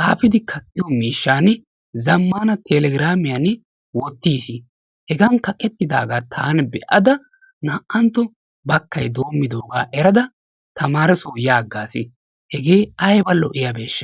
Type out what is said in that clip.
xaafidi kaqqiyo mishani zamana telegiraamiyani wotiis. heghan kaqettidaagaa taani be'ada na'antto bakay doomidoogaa erada tamaareso ya agaasi hegee ayba lo'iyabeesha.